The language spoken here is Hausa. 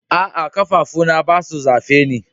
Aa, kafafu na ba su zafe ni.